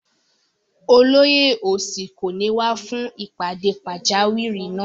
Olóyè òsì kò ní wá fún ìpàdé pàjáwìrì náà